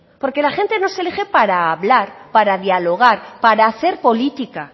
porque la gente nos elige para hablar para dialogar para hacer política